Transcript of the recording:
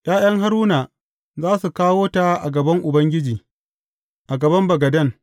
’Ya’yan Haruna za su kawo ta a gaban Ubangiji, a gaban bagaden.